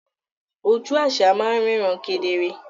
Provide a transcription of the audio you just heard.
Oju àṣà máa ń ríran kedere